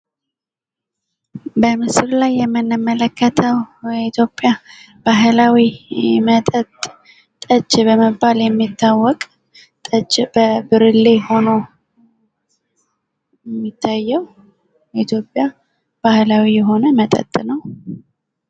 በምስሉ ላይ የምንመለከተው የኢትዮጵያ ባህላዊ መጠጥ ሲሆን ፤ ጠጅ በመባል የሚታወቅ እና በብርሌ ተቀምጦ ይታያል።